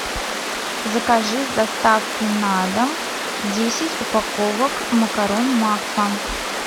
закажи с доставкой на дом десять упаковок макарон макфа